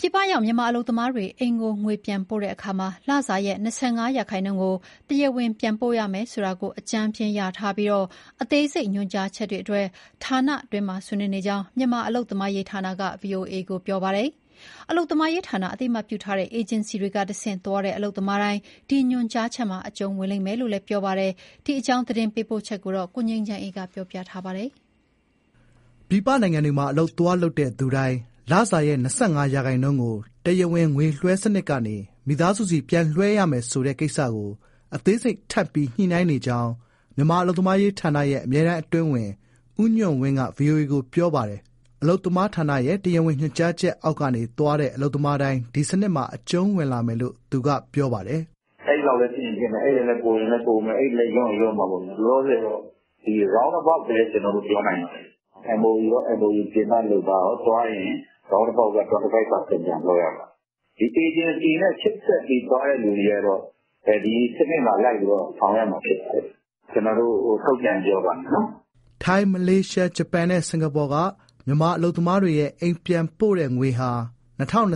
ပြည်ပရောက် မြန်မာ အလုပ်သမားတွေ အိမ်ကို ငွေပြန်ပို့တဲ့အခါမှာ လစာရဲ့ ၂၅ % ကို တရားဝင် ပြန်ပို့ရမယ် ဆိုတာကို အကြမ်းဖျဥ်း လျာထားပြီး အသေးစိတ် ညွှန်ကြားချက်တွေအတွက် ဌာနတွင်းမှာ ဆွေးနွေးနေကြောင်း မြန်မာ အလုပ်သမားရေး ဌာနက ဗွီအိုအေကို ပြောပါတယ်။ အလုပ်သမားရေးဌာန အသိအမှတ်ပြုထားတဲ့ အေဂျင်စီတွေက တဆင့်သွားတဲ့ အလုပ်သမားတိုင်း ဒီညွှန်ကြားချက်အောက်မှာ အကျုံးဝင်လိမ့်မယ်လို့လည်း ပြောပါတယ်။ ဒီအကြောင်း ရန်ကုန်ကလာတဲ့ သတင်းပေးပို့ချက်ကို −−− က တင်ပြပေးထားပါတယ်။ ပြည်ပနိုင်ငံတွေမှာ အလုပ်လုပ်သူတိုင်း လစာရဲ့ ၂၅ ရာခိုင်နှုန်းကို တရားဝင် ငွေလွှဲစနစ်ကနေ မိသားစုဆီပြန်လွှဲရမယ်ဆိုတဲ့ကိစ္စကို အသေးစိတ် ထပ်ပြီး ညှိနှိုင်းနေကြောင်း မြန်မာအလုပ်သမားရေးဌာနရဲ့ အမြဲတမ်းအတွင်းဝန် ဦးညွှန့်ဝင်းက ဗွီအိုအေကို ပြောပါတယ်။ အလုပ်သမားဌာနရဲ့ တရားဝင်ညွှန်ကြားချက်အောက်ကနေသွားတဲ့ အလုပ်သမားတိုင်း ဒီစနစ်မှာ အကျုံးဝင်လာလိမ့်မယ်လို့ သူက ပြောပါတယ်။ "အဲဒီလောက်လည်း ဖြစ်ချင်ဖြစ်မယ်။ အဲဒီထက်လည်း ပိုချင်ပိုမယ်။ လျော့ရင်လည်း လျော့မှာပေါ့။ လောလောဆယ်တော့ round about ပဲ ကျနော်တို့ ပြောနိုင်ပါတယ်။ MoU ရော၊ MoU ပြင်ပလုပ်သားရော သွားရင် round about က ၂၅ ရာခိုင်နှုန်း ပြန်လွှဲရမယ်။ အေဂျင်စီနဲ့ ချိတ်ဆက်ပြီး သွားတဲ့သူတွေကတော့ ဒီစနစ်မှာလိုက်ပြီး ဆောင်ရွက်ရမှာ ဖြစ်ပါတယ်။ ကျနော်တို့ ထုတ်ပြန်ရင် ပြောပါမယ်နော်။" ထိုင်း၊ မလေးရှား၊ ဂျပန်နဲ့ စင်္ကာပူက မြန်မာအလုပ်သမားတွေရဲ့ အိမ်ပြန်ပို့တဲ့ ငွေဟာ ၂၀၂၂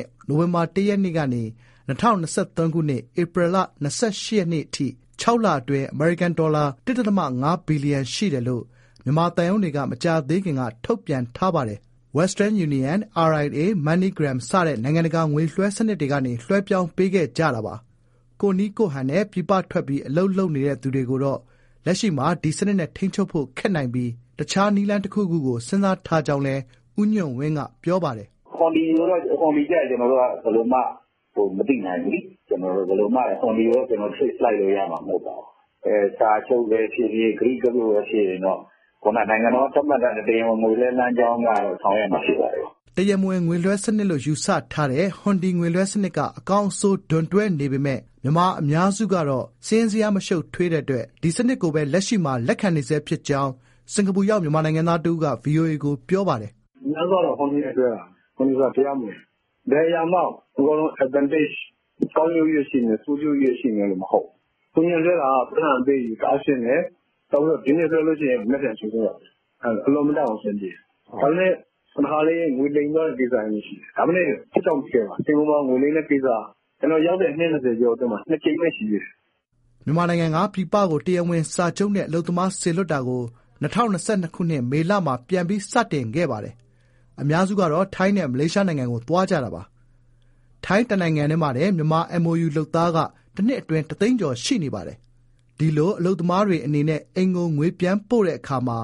၊ နိုဝင်ဘာလ ၁ ရက်ကနေ ၂၀၂၃၊ ဧပြီလ ၂၈ ရက် အထိ ၆ လအတွင်း အမေရိကန်ဒေါ်လာ ၁.၅ ဘီလီယံ ရှိတယ်လို့ မြန်မာသံရုံးတွေက မကြာသေးခင်က ထုတ်ပြန်ခဲ့ပါတယ်။ Western Union ၊ Ria ၊ Money Gram စတဲ့ နိုင်ငံတကာ ငွေလွှဲစနစ်တွေကနေ လွှဲပြောင်းပေးခဲ့ကြတာပါ။ ကိုယ့်နည်းကိုယ့်ဟန်နဲ့ ပြည်ပထွက်ပြီး အလုပ်လုပ်နေတဲ့သူတွေကိုတော့ လက်ရှိမှာ ဒီစနစ်နဲ့ ထိန်းချုပ်ဖို့ခက်နိုင်ပြီး တခြားနည်းလမ်းတခုခုကို စဉ်းစားထားကြောင်းလည်း ဦးညွှန့်ဝင်းက ပြောပါတယ်။ "ဟွန်ဒီ ကျတော့ ကျနော်တို့က ဘယ်လိုမှ မသိနိုင်ဘူးလေ။ ဟွန်ဒီကိုတော့ ကျနော်တို့က trace လိုက်လို့ရမှာ မဟုတ်ဘူး။ စာချုပ်ပဲဖြစ်ဖြစ် ကတိကဝတ်ပဲဖြစ်ဖြစ် နိုင်ငံတော်ကသတ်မှတ်ထားတဲ့ တရားဝင် ငွေလွှဲလမ်းကြောင်းကတော့ ဆောင်ရွက်ရမှာ ဖြစ်ပါတယ်။" တရားမဝင်ငွေလွှဲစနစ်လို့ယူဆထားတဲ့ ဟွန်ဒီငွေလွှဲစနစ်က အကောင်းအဆိုး ဒွန်တွဲနေပေမဲ့ မြန်မာ အများအစုကတော့ စာရင်းဇယား မရှုပ်ထွေးတဲ့အတွက် ဒီစနစ်ကိုပဲ လက်ရှိမှာ လက်ခံနေဆဲဖြစ်ကြောင်း စင်္ကာပူရောက် မြန်မာနိုင်ငံသား တဦးက ဗွီအိုအေကို ပြောပါတယ်။ "အများစုက ဟွန်ဒီနဲ့လွှဲတာ။ ဟွန်ဒီက တရားမဝင်။ ဘယ်အရာမှ အကုန်လုံး advantage ကောင်းကျိုးချည်း ပဲရှိမယ်၊ ဆိုးကျိုးချည်းပဲရှိမယ် မဟုတ်ဘူး။ ဟွန်ဒီက ပိုက်ဆံ အပေးအယူ တအားရှင်းတယ်။ ဒီနေ့လွှဲရင် မနက်ဖြန် ချက်ချင်းရတယ်။ အင်မတန်ကို အဆင်ပြေတယ်။ ဒါပေမဲ့ ငွေလိမ်သွားတဲ့ ကိစ္စတွေရှိတယ်။ ဒါပေမဲ့ ဖြစ်တောင့် ဖြစ်ခဲပါ။ စင်္ကာပူမှာ ငွေလိမ်တဲ့ကိစ္စက ကျနော်ရောက်တဲ့ အနှစ် ၂၀ ကျော်ထဲမှာ ၂ ကြိမ်ပဲ ရှိသေးတယ်။" မြန်မာနိုင်ငံကနေ ပြည်ပကို တရားဝင်စာချုပ်နဲ့ အလုပ်သမားစေလွှတ်တာကို ၂၀၂၂၊ မေလမှာ ပြန်ပြီး စတင်ခဲ့ပါတယ်။ အများစုက ထိုင်းနဲ့ မလေးရှားနိုင်ငံကို သွားကြတာပါ။ ထိုင်း တနိုင်ငံတည်းမှာတင် မြန်မာ MoU လုပ်သားက တနှစ် အတွင်း တသိန်းကျော် ရှိနေပါတယ်။ ဒီလို အလုပ်သမားတွေအနေနဲ့ အိမ်ကို ငွေပြန်ပို့တဲ့အခါမှာ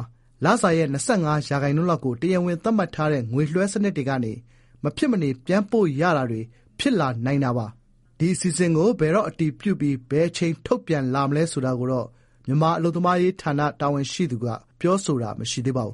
လစာရဲ့ ၂၅ % လောက်ကို တရားဝင် သတ်မှတ်ထားတဲ့ ငွေလွှဲစနစ်တွေကနေပဲ မဖြစ်မနေ ပြန်ပို့ရတာတွေ ဖြစ်လာနိုင်တာပါ။ ဒီအစီအစဥ်ကို ဘယ်တော့ အတည်ပြုပြီး ဘယ်အချိန် ထုတ်ပြန်လာမလဲ ဆိုတာကိုတော့ မြန်မာ အလုပ်သမားရေး ဌာန တာဝန်ရှိသူက ပြောဆိုတာ မရှိသေးပါဘူ